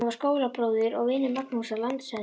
Hann var skólabróðir og vinur Magnúsar landshöfðingja.